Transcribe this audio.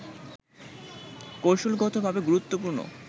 কৌশলগতভাবে গুরুত্বপূর্ণ